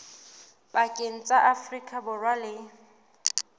pakeng tsa afrika borwa le